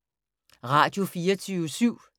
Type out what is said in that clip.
Radio24syv